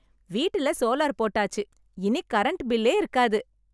வீட்டுல சோலார் போட்டாச்சு. இனி கரண்ட் பில்லே இருக்காது.